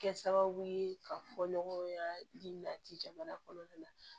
Kɛ sababu ye ka fɔ ɲɔgɔn ye ladi jamana kɔnɔna na